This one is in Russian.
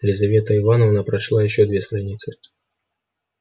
лизавета ивановна прочла ещё две страницы